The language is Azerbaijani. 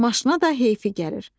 Maşına da heyfi gəlir.